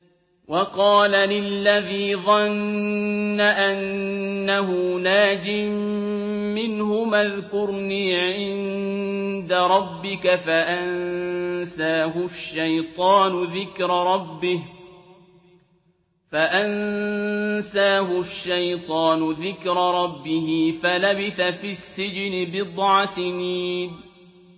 وَقَالَ لِلَّذِي ظَنَّ أَنَّهُ نَاجٍ مِّنْهُمَا اذْكُرْنِي عِندَ رَبِّكَ فَأَنسَاهُ الشَّيْطَانُ ذِكْرَ رَبِّهِ فَلَبِثَ فِي السِّجْنِ بِضْعَ سِنِينَ